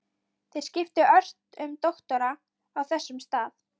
Þeir skiptu ört um doktora á þessum stað.